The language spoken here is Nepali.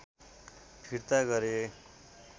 फिर्ता गरे